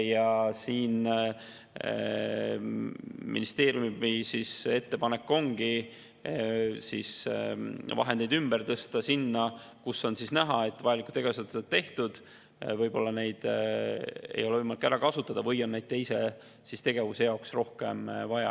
Ja ministeeriumi ettepanek ongi vahendeid ümber tõsta, kus on näha, et vajalikud tegevused on tehtud ja võib-olla neid ei ole võimalik ära kasutada, või siis on mõne teise tegevuse jaoks rohkem vaja.